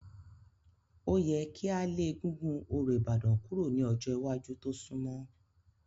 Ó yẹ kí a lé egúngún orò Ìbàdàn kúrò ní ọjọ́ iwájú tó sunmọ́.